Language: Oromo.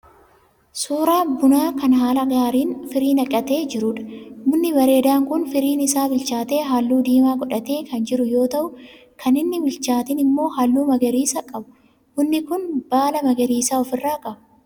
Suuraa bunaa kan haala gaariin firii naqatee jiruudha. Bunni bareedaan kun firiin isaa bilchaatee halluu diimaa godhatee kan jiru yoo ta'u kan hin bilchaatiin immoo halluu magariisa qabu. Bunni kun baala magariisa of irraa qaba.